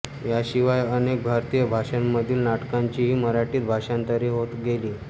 यांशिवाय अनेक भारतीय भाषांमधील नाटकांचीही मराठीत भाषांतरे होत गेली